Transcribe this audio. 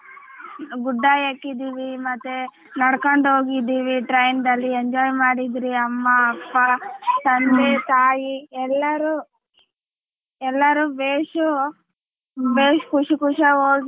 ಗುಡ್ಡ ಹಾಕಿದೀವಿ ಮತ್ತೆ ನೆಡಕೊಂಡು ಹೋಗಿದೀವಿ train ದಲ್ಲಿ enjoy ಮಾಡಿದರಿ ಅಮ್ಮ ಅಪ್ಪ ತಂದೆ ತಾಯಿ ಎಲ್ಲಾರೂ ಎಲ್ಲಾರು ಬೇಸೂ ಬೇಸ್ ಖುಷಿ ಖುಷಿಯಾಗಿ ಹೋಗಿ.